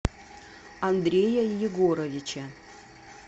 андрея егоровича